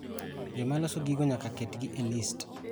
Joma loso gigo nyaka ketgi e list.